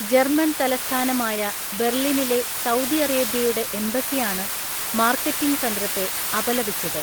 German തലസ്ഥാനമായ ബെർലിനിലെ Saudi അറേബ്യയുടെ എംബസിയാണ് മാർക്കറ്റിംഗ് തന്ത്രത്തെ അപലപിച്ചത്.